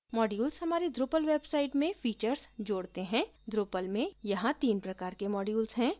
modules हमारी drupal website में features जोड़ते हैं drupal में यहाँ तीन प्रकार के modules हैं